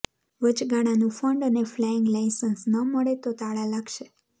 વચગાળાનું fund અને flying licence ન મળે તો તાળાં લાગશે